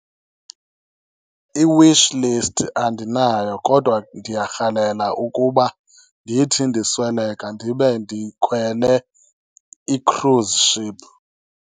I-wish list andinayo kodwa ndiyarhalela ukuba ndithi ndisweleka ndibe ndikhwele i-cruise ship.